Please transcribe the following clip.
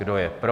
Kdo je pro?